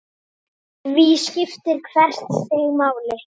Því skiptir hvert stig máli.